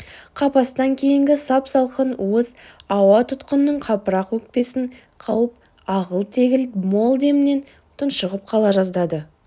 қапастан кейінгі сап-салқын уыз ауа тұтқынның қапырық өкпесін қауып ағыл-тегіл мол демнен тұншығып қала жаздады